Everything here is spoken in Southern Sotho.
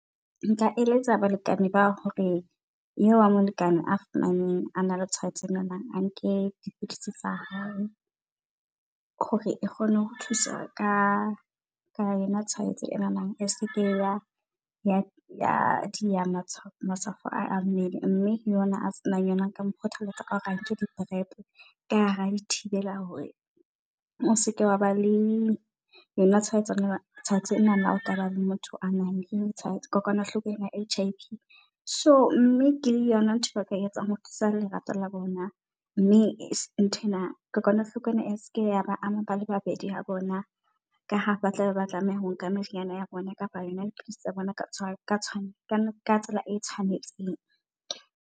Nka eletsa balekane ba hore eo wa molekane a fumaneng a na le tshwaetso ena, a nke dipilisi tsa hao hore e kgone ho thusa ka ka yona tshwaetso enanang. As ke ya di ya ya di a matshwafo a mmele, mme le yena a senang yona nka mokgothalletsa ka hore a nke di prep. Ka ha di thibela hore o seke wa ba le yona tshwaetso e nana. Tshwaetso e nana o kaba le motho a nang le tshwaetso kokwanahloko ena ya H_I_V. So mme ke yona ntho ba ka etsang ho thusa lerato la bona. Mme ntho ena kokwanahloko ena ese ke ya ba ama bale babedi ha bona ka ha ba tlabe ba tlameha ho nka meriana ya bona kapa yona dipidisi tsa bona ka tshwane ka tsela e tshwanetseng.